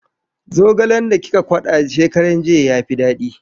Zogalen da kika kwada shekaran jiya ya fi daɗi.